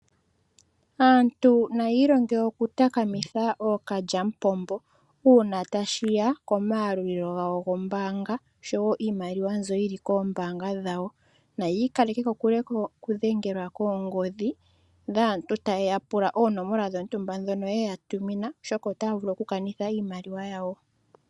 Aantu naayi longe okutakamitha ookalyamupombo uuna tashiya komaalulilo gawo gombaanga oshowo iimaliwa mbyo yili koombaanga dhawo, nayi ikaleke kokule okudhengelwa koongodhi dhaantu tayeya pula oonomola dhotumba dhono yeya tumina oshoka otaavulu kukanitha iimaliwa yawo.